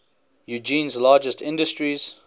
eugene's largest industries